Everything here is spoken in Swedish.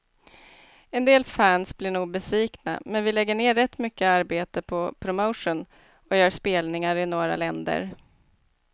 En del fans blir nog besvikna, men vi lägger ner rätt mycket arbete på promotion och gör spelningar i några länder.